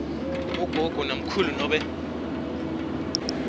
bogogo namkhulu nobe